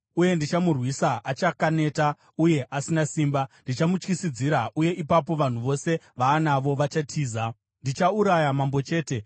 Uye ndichamurwisa achakaneta uye asina simba. Ndichamutyisidzira, uye ipapo vanhu vose vaanavo vachatiza. Ndichauraya mambo chete.